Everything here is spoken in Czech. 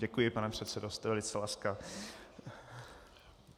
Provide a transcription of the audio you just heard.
Děkuji, pane předsedo, jste velice laskav.